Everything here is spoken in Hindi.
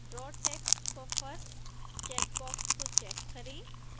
draw text buffer चेकबॉक्स को चेक करें